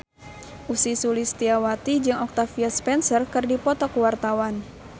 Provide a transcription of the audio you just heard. Ussy Sulistyawati jeung Octavia Spencer keur dipoto ku wartawan